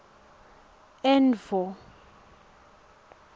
endvo